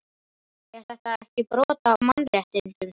Er þetta ekki brot á mannréttindum?